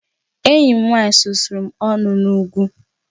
Enyi m nwanyị susuru m ọnụ n'ugwu